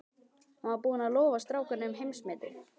Hann var búinn að lofa strákunum heimsmeti.